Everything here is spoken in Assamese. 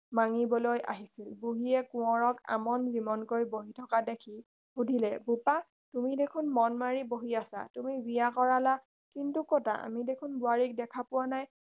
মাগিবলৈ আহিছিল বুঢ়ীয়ে কোঁৱৰক আমন জিমনকৈ বহি থকা দেখি সুধিলে বোপা তুমি দেখোন মন মাৰি বহি আছা তুমি বিয়া কৰিলা কিন্তু কতা আমি দেখোন বোৱাৰীক দেখা পোৱা নাই